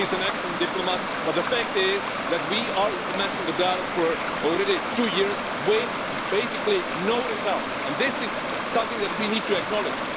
He is an excellent diplomat, but the fact is that we are implementing the dialogue for already two years with basically no results, and this is something that we need to acknowledge.